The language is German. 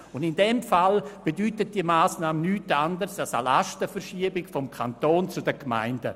In diesem Fall bedeutet diese Massnahme nichts anderes als eine Lastenverschiebung vom Kanton zu den Gemeinden.